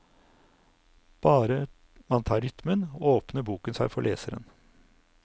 Bare man tar rytmen, åpner boken seg for leseren.